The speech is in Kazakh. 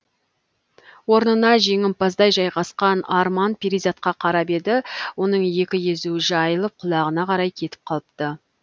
орнына жеңімпаздай жайғасқан арман перизатқа қарап еді оның екі езуі жайылып құлағына қарай кетіп қалыпты